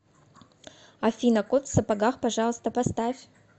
афина кот в сапогах пожалуйста поставь